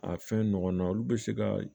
A fɛn nɔgɔnna olu bɛ se ka